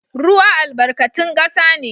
Ruwa albarkatun kasa ne